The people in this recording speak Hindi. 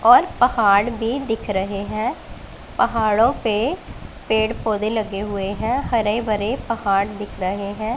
और पहाड़ भी दिख रहे हैं पहाड़ों पे पेड़ पौधे लगे हुए हैं हरे भरे पहाड़ दिख रहे हैं।